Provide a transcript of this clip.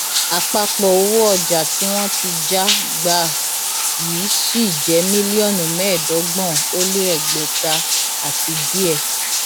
àpapọ owó ọjà tí wọn ti já gbà yìí ṣì jẹ mílíọnù mẹẹẹdọgbọn ó lé ẹgbẹta àti díẹ